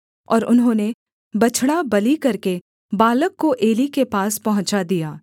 और उन्होंने बछड़ा बलि करके बालक को एली के पास पहुँचा दिया